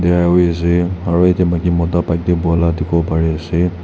ase aro yete maiki mota bike de buala dikivo pari ase.